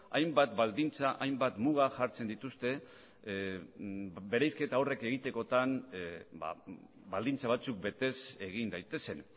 hainbat baldintza hainbat muga jartzen dituzte bereizketa horrek egitekotan baldintza batzuk betez egin daitezen